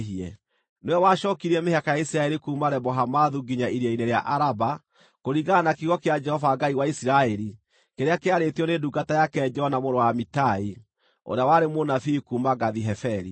Nĩwe wacookirie mĩhaka ya Isiraeli kuuma Lebo-Hamathu nginya Iria-inĩ rĩa Araba kũringana na kiugo kĩa Jehova Ngai wa Isiraeli kĩrĩa kĩarĩtio nĩ ndungata yake Jona mũrũ wa Amitai, ũrĩa warĩ mũnabii kuuma Gathi-Heferi.